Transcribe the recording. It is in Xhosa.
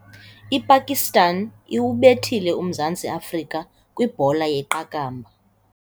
Ipakistan iwubethile uMzantsi Afrika kwibhola yeqakamba.